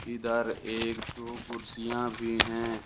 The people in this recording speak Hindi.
इधर एक दो कुर्सियां भी हैं।